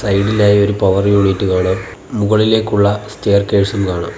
സൈഡിലായി ഒരു power unit കാണാം മുകളിലേക്കുള്ള സ്റ്റെയർകേഴ്സും കാണാം.